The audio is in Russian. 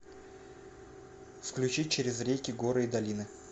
включить через реки горы и долины